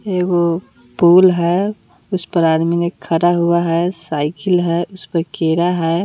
एगो पुल है उसपर आदमी ने खड़ा हुआ है साइकिल है उसपे खीरा है।